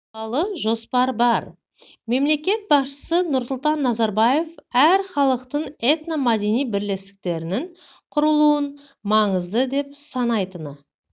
туралы жоспар бар мемлекет басшысы нұрсұлтан назарбаев әр халықтың этно-мәдени бірлестіктерінің құрылуын маңызды деп санайтыны